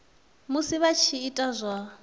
musi vha tshi ita zwa